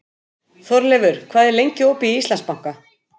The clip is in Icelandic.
Þórleifur, hvað er lengi opið í Íslandsbanka?